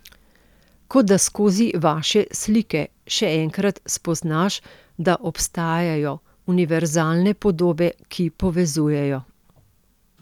Kot da skozi vaše slike še enkrat spoznaš, da obstajajo univerzalne podobe, ki povezujejo.